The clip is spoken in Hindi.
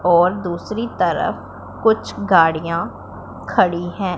और दूसरी तरफ कुछ गाड़ियां खड़ी है।